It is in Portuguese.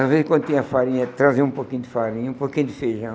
Às vezes, quando tinha farinha, traziam um pouquinho de farinha, um pouquinho de feijão.